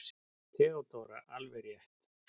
THEODÓRA: Alveg rétt!